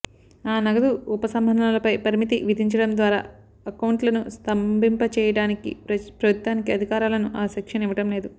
ఆ నగదు ఉపసంహరణలపై పరిమితి విధించడం ద్వారా అకౌంట్లను స్తంభింపచేయడానికి ప్రభుత్వానికి అధికారా లను ఆ సెక్షన్ ఇవ్వటం లేదు